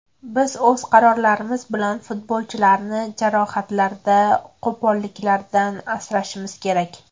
Biz o‘z qarorlarimiz bilan futbolchilarni jarohatlardan, qo‘polliklardan asrashimiz kerak.